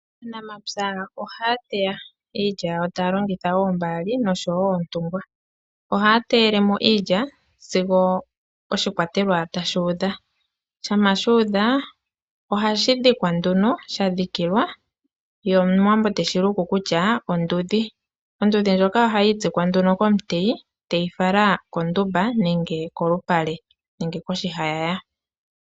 Aanamapya ohaya teya iilya yawo taya longitha oombaali noshowo oontungwa. Ohaya teyele mo iilya sigo oshikwatelwa tashi udha. Shampa shu udha ohashi dhikwa nduno, sha dhikilwa ye Omuwambo teshi luku kutya ondudhi. Ondudhi ndjoka ohayi itsikwa nduno komuteyi teyi fala kondumba nenge kolupale nenge koshihayaya.